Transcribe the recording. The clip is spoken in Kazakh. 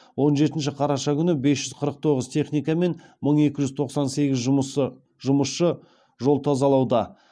он жетінші қараша күні бес жүз қырық тоғыз техника мен мың екі жүз тоқсан сегіз жұмысшы жол тазалауда